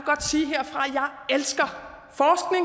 elsker